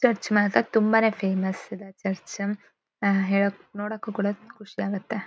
Church ಮಾತ್ರ ತುಂಬಾನೇ famous ಇದೆ ಚರ್ಚ್ . ಆಹ್ಹ್ ಹೇಳಕ್ ನೋಡಕ್ಕೂ ಕೂಡಾ ಖುಷಿ ಆಗತ್ತೆ.